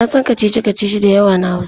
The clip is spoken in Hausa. Na san kacici-kacici da yawa na Hausa.